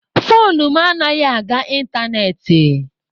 Foonu m anaghị aga ịntanetị.